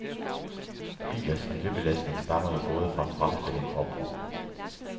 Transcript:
Bilers miljøbelastning stammer jo både fra fremstilling og brug.